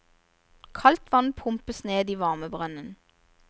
Kaldt vann pumpes ned i varmebrønnen.